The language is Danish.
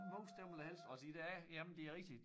Mus dem vil jeg helst også i dag jamen det rigtigt